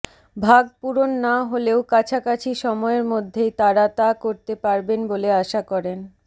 ভাগ পূরণ না হলেও কাছাকাছি সময়ের মধ্যেই তারা তা করতে পারবেন বলে আশা করেন